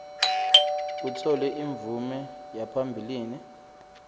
kutfole imvume yaphambilini